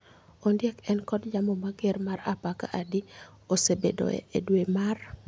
Ondiek en kod yamo mager mar apaka adi ma osebedoe e dwe mar